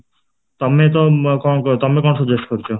ତମେ ତ କଣ ତମେ କଣ suggest କରୁଛ?